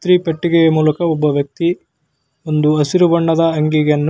ಇಸ್ತ್ರಿಪೆಟ್ಟಿಗೆಯ ಮೂಲಕ ಒಬ್ಬ ವ್ಯಕ್ತಿ ಒಂದು ಹಸಿರು ಬಣ್ಣದ --